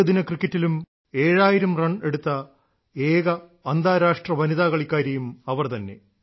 ഏകദിന ക്രിക്കറ്റിലും ഏഴായിരം റൺ എടുത്ത ഏക അന്താരാഷ്ട്ര വനിതാ കളിക്കാരിയും അവർ തന്നെ